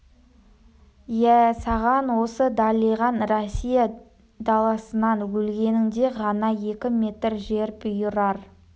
иә саған осы далиған россия даласынан өлгеніңде ғана екі метр жер бұйырар